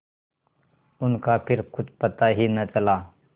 उनका फिर कुछ पता ही न चला